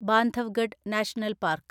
Bandhavgarh national park